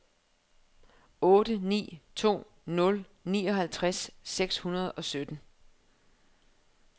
otte ni to nul nioghalvtreds seks hundrede og sytten